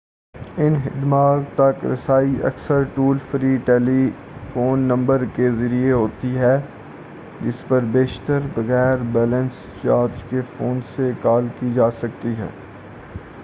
ان خدمات تک رسائی اکثر ٹول فری ٹیلیفون نمبر کے ذریعہ ہوتی ہے جس پر بیشتر بغیر بیلنس چارج کے فون سے کال کی جاسکتی ہے